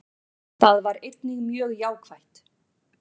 Það var einnig mjög jákvætt